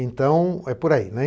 Então, é por aí, né.